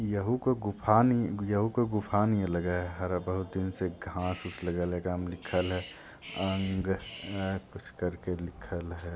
Yahoo कोई गुफानि याहू कोई गुफा नि लग । हर बहुत दिन से कुछ घास पूस लगल है एकरा में लिखले अंग कुछ करके लिखले --